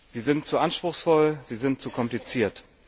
Sie sind zu anspruchsvoll, sie sind zu kompliziert.